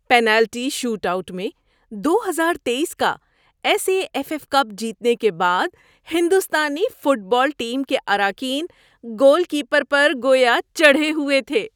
Penalty shoot out میں دو ہزار تیئیس کا S A F F cup جیتنے کے بعد ہندوستانی فٹ بال ٹیم کے اراکین گول کیپر پر گویا چڑھے ہوئے تھے۔